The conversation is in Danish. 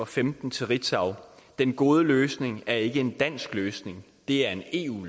femten til ritzau den gode løsning er ikke en dansk løsning det er en